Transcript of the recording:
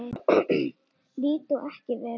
Lít ég ekki vel út?